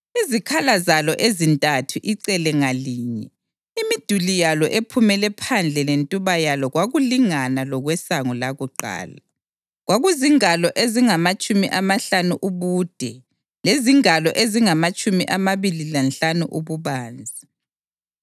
Izikhala zalo ezintathu icele ngalinye, imiduli yalo ephumele phandle lentuba yalo kwakulingana lokwesango lakuqala. Kwakuzingalo ezingamatshumi amahlanu ubude lezingalo ezingamatshumi amabili lanhlanu ububanzi.